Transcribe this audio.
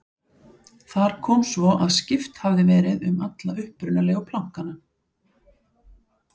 Þar kom svo að skipt hafði verið um alla upprunalegu plankana.